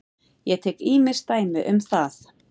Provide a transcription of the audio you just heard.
Ég tek ýmis dæmi um það.